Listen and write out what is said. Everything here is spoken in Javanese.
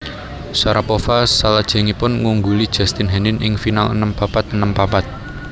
Sharapova salajengipun ngungguli Justine Henin ing final enem papat enem papat